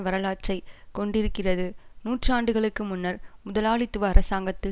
வரலாற்றை கொண்டிருக்கிறது நூற்றாண்டுகளுக்கு முன்னர் முதலாளித்துவ அரசாங்கத்தில்